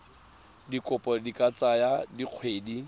dikopo di ka tsaya dikgwedi